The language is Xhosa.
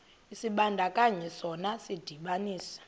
isibandakanyi sona sidibanisa